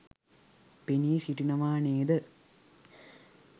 පෙනී සිටිනවා නේද?